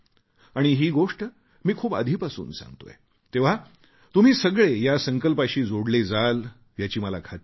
आणि ही गोष्ट मी खूप आधीपासून सांगतोय तेव्हा तुम्ही सगळे या संकल्पाशी जोडले जाल याची मला खात्री आहे